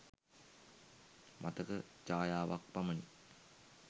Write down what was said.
මතක ඡායාවක් පමණකි.